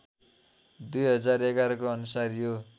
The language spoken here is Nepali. २०११को अनुसार यो